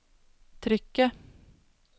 trykket